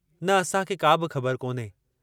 न असांखे का बि ख़बरु कोन्हे।